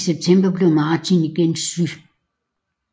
I september blev Martí igen syg